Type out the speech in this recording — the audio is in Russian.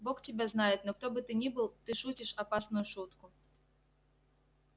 бог тебя знает но кто бы ты ни был ты шутишь опасную шутку